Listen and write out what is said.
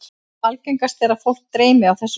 Algengast er að fólk dreymi á þessu stigi.